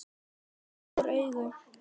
Ég rak upp stór augu.